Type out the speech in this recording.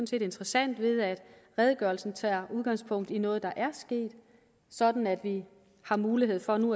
set interessant ved at redegørelsen tager udgangspunkt i noget der er sket sådan at vi har mulighed for nu